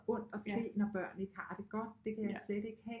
Ondt at se når børn ikke har det godt det kan jeg slet ikke have